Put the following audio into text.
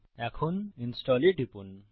এখন ইনস্টল এ টিপুন